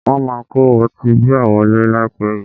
Wọ́n máa kó ọtí bíà wọlé láìpẹ́ yìí